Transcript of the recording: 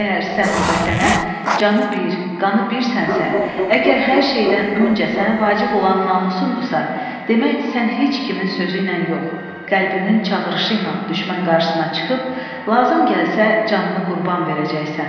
Əgər sən bu Vətənə canı bir, qanı birsənsə, əgər hər şeydən öncə sənə vacib olan namusundursa, demək, sən heç kimin sözüylə yox, qəlbinin çağırışı ilə düşmən qarşısına çıxıb lazım gəlsə canını qurban verəcəksən.